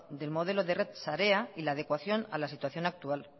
del modelo de red sarea y la adecuación a la situación actual